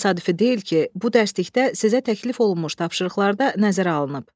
Təsadüfi deyil ki, bu dərslikdə sizə təklif olunmuş tapşırıqlarda nəzərə alınıb.